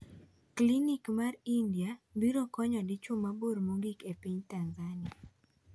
Klinik mar India biro konyo dichwo mabor mogik e piny Tanzania